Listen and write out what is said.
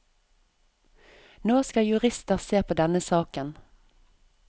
Nå skal jurister se på denne saken.